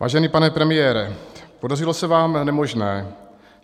Vážený pane premiére, podařilo se vám nemožné.